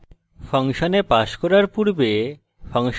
ফাংশনে পাস করার পূর্বে